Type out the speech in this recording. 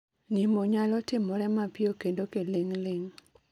Nimo nyalo timore mapio kendo kiling' ling'